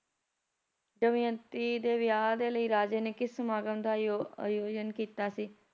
ਦਮਿਅੰਤੀ ਦੇ ਵਿਆਹ ਦੇ ਲਈ ਰਾਜੇ ਨੇ ਕਿਸ ਸਮਾਗਮ ਦਾ ਆਯੋ ਆਯੋਜਨ ਕੀਤਾ ਸੀ